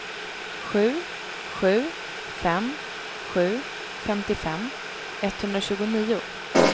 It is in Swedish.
sju sju fem sju femtiofem etthundratjugonio